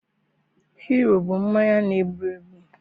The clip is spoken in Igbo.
Hiro bụ mmanya na-egbu egbu